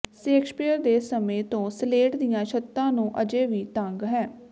Shakespeare ਦੇ ਸਮੇਂ ਤੋਂ ਸਲੇਟ ਦੀਆਂ ਛੱਤਾਂ ਨੂੰ ਅਜੇ ਵੀ ਤੰਗ ਹੈ